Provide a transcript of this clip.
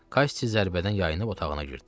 Kassi zərbədən yayınıb otağına girdi.